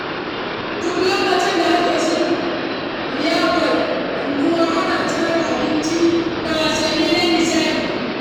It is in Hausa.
Duk lokacin da ake shirin liyafar unguwa, ana tsara abinci da wasanni don nishaɗi.